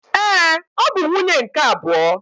Ee, ọ bụ nwunye nke abụọ